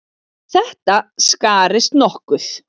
En þetta skarist nokkuð.